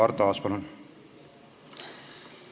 Arto Aas, palun!